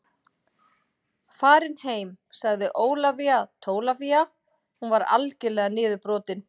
Farin heim, sagði Ólafía Tólafía, hún var algerlega niðurbrotin.